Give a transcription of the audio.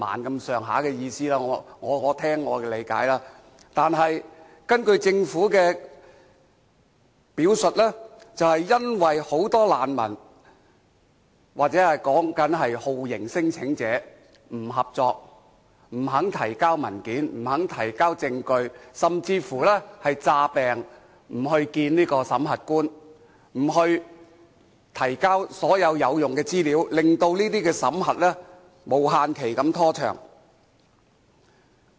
但是，根據政府的表述，這卻是由於很多難民或酷刑聲請者不合作，不肯提交文件，不肯提交證據，甚至乎裝病不去見審核官，不提交所有有用資料，令審核程序無限期拖長。